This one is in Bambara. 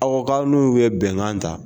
Awa ka n'u ye bɛnkan ta.